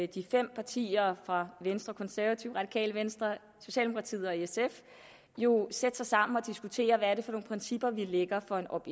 de fem partier fra venstre konservative radikale venstre socialdemokratiet og sf jo sætte sig sammen og diskutere hvad det er for nogle principper vi lægger for en opt